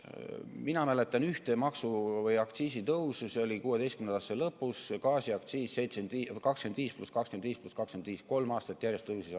Mina mäletan ühte maksu- või aktsiisitõusu, see oli 2016. aasta lõpus, kui tõsteti gaasiaktsiis 25% + 25% + 25% aastas, kolm aastat järjest.